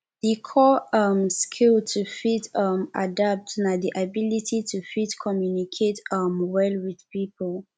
di core um skill to fit um adapt na di ability to fit communicate um well with pipo